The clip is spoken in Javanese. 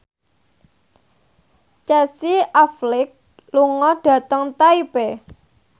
Casey Affleck lunga dhateng Taipei